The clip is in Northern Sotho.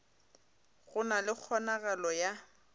go na le kgonagalo ya